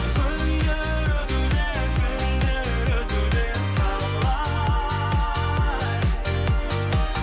күндер өтуде түндер өтуде талай